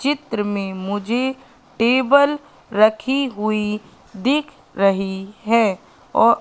चित्र मे मुझे टेबल रखी हुई दिख रही है और--